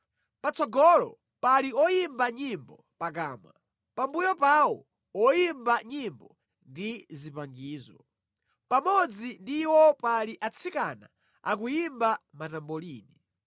Patsogolo pali oyimba nyimbo pakamwa, pambuyo pawo oyimba nyimbo ndi zipangizo; pamodzi ndi iwo pali atsikana akuyimba matambolini.